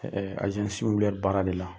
Ɛɛ baara de la.